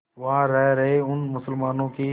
वहां रह रहे उन मुसलमानों की